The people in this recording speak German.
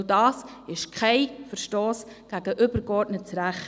Auch das ist kein Verstoss gegen übergeordnetes Recht.